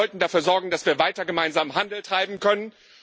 Wir sollten dafür sorgen, dass wir weiter gemeinsam Handel treiben können.